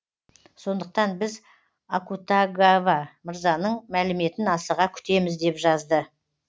сондықтан біз акутагава мырзаның мәліметін асыға күтеміз деп жазды